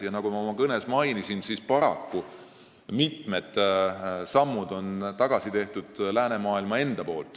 Ja nagu ma oma kõnes mainisin, paraku on läänemaailm ise teinud mitmeid tagasisamme.